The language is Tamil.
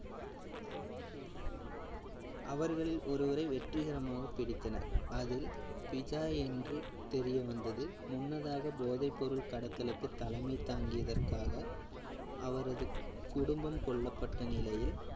அவர்களில் ஒருவரை வெற்றிகரமாக பிடித்தனர். அதில் பிஜா என்று தெரியவந்தது. முன்னதாக போதை பொருள் கடத்தலுக்கு தலைமை தாங்கியதற்காக அவரது குடும்பம் கொல்லப்பட்ட நிலையில்